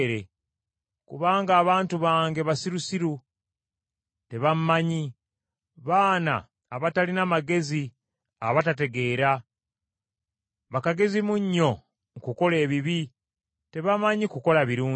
“Kubanga abantu bange basirusiru, tebammanyi. Baana abatalina magezi; abatategeera. Bakagezimunnyu mu kukola ebibi, tebamanyi kukola birungi.”